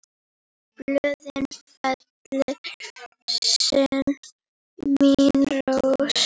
Blöðin fellir senn mín rós.